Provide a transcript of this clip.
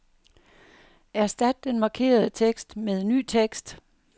Erstat den markerede tekst med ny tekst.